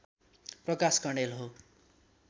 प्रकाश कँडेल हो